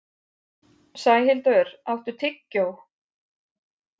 Sæhildur, áttu tyggjó?